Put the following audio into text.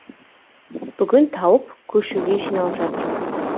бүгін тауып көшуге жиналып жатырмыз